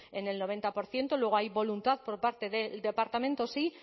en el noventa por ciento luego hay voluntad por parte de departamento sí